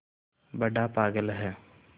बड़ा पागल है